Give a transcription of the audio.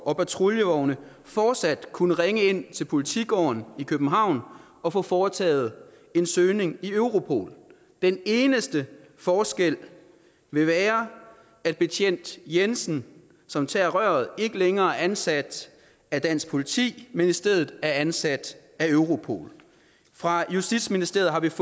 og patruljevogne fortsat kunne ringe ind til politigården i københavn og få foretaget en søgning i europol den eneste forskel vil være at betjent jensen som tager røret ikke længere er ansat af dansk politi men i stedet er ansat af europol fra justitsministeriets